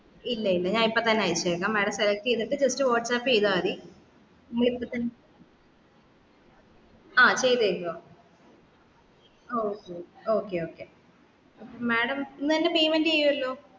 ഇല്ല ഇല്ല ഞാൻ ഇപ്പൊത്തന്നെ അയച്ചേക്കാം madam select ചെയ്തിട്ട് just വാട്സാപ്പ് ചെയ്യ്താമതി ആ ചെയ്തു കഴിഞ്ഞോ ആ okay okay madam ഇന്ന് തന്നെ payment ചെയ്യുവല്ലോ